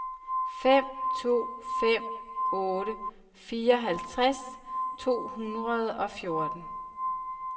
fem to fem otte fireoghalvtreds to hundrede og fjorten